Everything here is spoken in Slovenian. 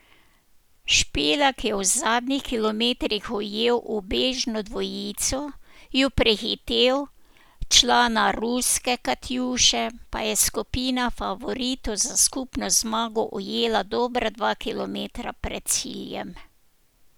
Špilak je v zadnjih kilometrih ujel ubežno dvojico, ju prehitel, člana ruske Katjuše pa je skupina favoritov za skupno zmago ujela dobra dva kilometra pred ciljem.